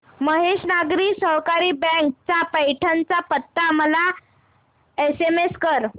महेश नागरी सहकारी बँक चा पैठण चा पत्ता मला एसएमएस कर